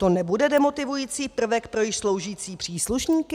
To nebude demotivující prvek pro již sloužící příslušníky?